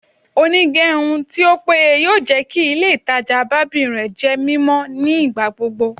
Onigerun ti o peye yoo jẹ ki ile itaja barbing jẹ mimọ nigbagbogbo